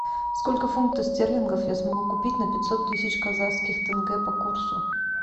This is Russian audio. сколько фунтов стерлингов я смогу купить на пятьсот тысяч казахских тенге по курсу